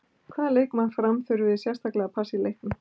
Hvaða leikmann Fram þurfið þið sérstaklega að passa í leiknum?